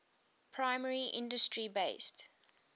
primary industry based